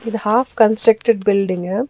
இது of constructed building .